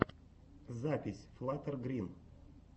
запись флаттер грин